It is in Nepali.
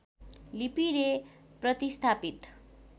लिपिले प्रतिस्थापित